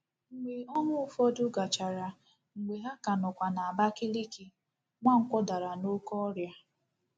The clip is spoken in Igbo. Mgbe ọnwa ụfọdụ gachara, mgbe ha ka nọkwa n'Abakiliki, Nwankwo dara n'oké ọrịa.